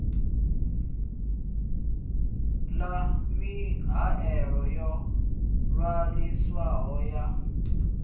ḓa mihaelo yo ṅwaliswaho ya